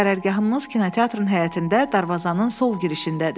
Qərargahımız kinoteatrın həyətində darvazanın sol girişindədir.